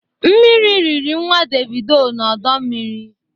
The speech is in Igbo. Mmiri rịrị nnwa Devido n'ọdọ mmiri